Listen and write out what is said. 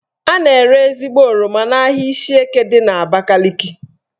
A na-ere ezigbo oroma n'ahia Ishieke dị n'Abakaliki